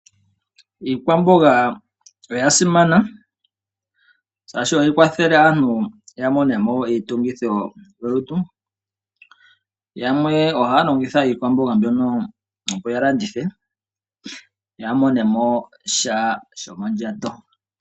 Iikwamboga oya simana shaashi ohayi kwathele aantu ya mone mo iitungithilutu . Yamwe ohaya longitha iikwamboga mbyono opo yalandithe yamonemo sha shomondjato.